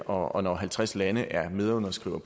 og når halvtreds lande er medunderskrivere